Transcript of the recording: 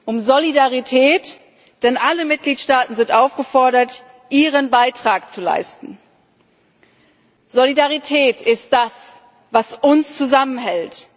Um Solidarität, denn alle Mitgliedstaaten sind aufgefordert, ihren Beitrag zu leisten. Solidarität ist das, was uns zusammenhält.